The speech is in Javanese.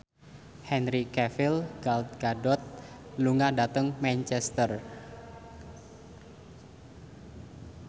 Henry Cavill Gal Gadot lunga dhateng Manchester